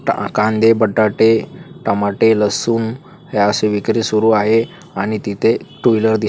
कांदे बटाटे टमाटे लसूण हे असं विक्री सुरू आहे आणि तिथे टू व्हीलर दि--